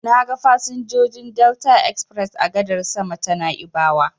Na ga fasinjojin Delta express a gadar sama ta Na'ibawa.